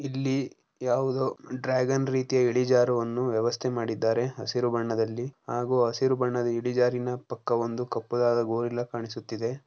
ಇಲ್ಲಿ ಯಾವುದೋ ಡ್ರಾಗನ್ ರೀತಿಯ ಇಳಿಜಾರುವನ್ನು ವ್ಯವಸ್ಥೆ ಮಾಡಿದ್ದಾರೆ. ಹಸಿರು ಬಣ್ಣದಲ್ಲಿ ಹಾಗೂ ಹಸಿರು ಬಣ್ಣದ ಇಳಿಜಾರಿನ ಪಕ್ಕ ಒಂದು ಕಪ್ಪದಾದ ಗೊರಿಲ್ಲಾ ಕಾಣಿಸುತ್ತಿದೆ.